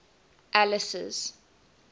alice's